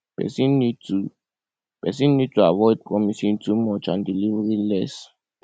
person need to person need to avoid promising too much and delivering less